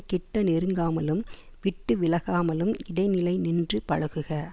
கிட்ட நெருங்காமலும் விட்டு விலகாமலும் இடைநிலை நின்று பழகுக